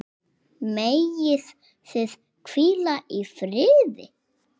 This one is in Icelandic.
Megið þið hvíla í friði.